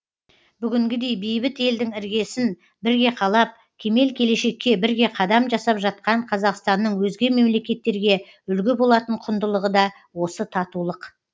бүгінгідей бейбіт елдің іргесін бірге қалап кемел келешекке бірге қадам жасап жатқан қазақстанның өзге мемлекеттерге үлгі болатын құндылығы да осы татулық